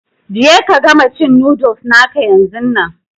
Je ka gama cin noodles naka yanzun nan!